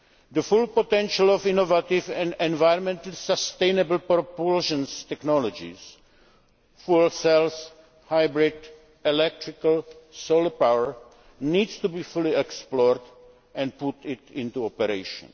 The full potential of innovative and environmentally sustainable propulsion technologies fuel cells, hybrid, electrical, solar power needs to be fully explored and put into operation.